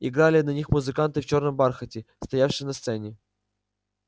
играли на них музыканты в чёрном бархате стоявшие на сцене